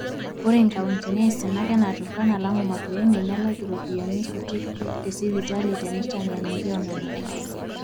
ore inkauntini aisinak naa turkana, lamu, makueni, nelaki iropiyiani kuti tesipitali tenitenyanyuki onena karsisi